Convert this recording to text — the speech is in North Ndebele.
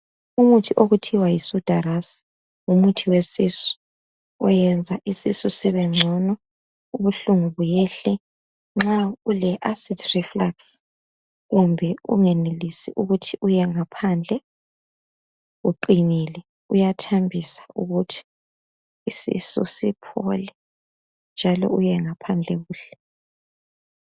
Umuthi othiwa yi SUDHA RAS ngumuthi wesisu oyenza isisu sibengcono, ubuhlungu buyehle nxa ule acid reflux kumbe ungenelisi ukuthi uye ngaphandle, kuqinile, uyathambisa ukuthi isisu siphole njalo uye ngaphandle kuhle.